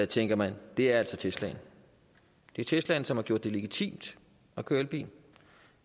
tænker man er altså teslaen det er teslaen som har gjort det legitimt at køre elbil